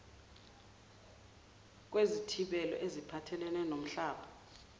kwezithibelo eziphathelene nomhlaba